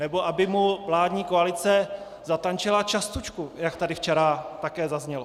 Nebo aby mu vládní koalice zatančila častušku, jak tady včera také zaznělo.